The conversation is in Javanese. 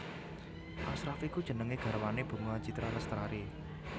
Ashraff iku jenenge garwane Bunga Citra Lestari